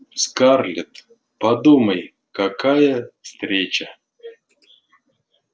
скарлетт подумай какая встреча